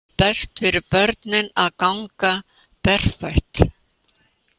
Best fyrir börnin að ganga berfætt